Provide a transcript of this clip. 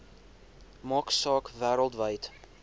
maak saak wêreldwyd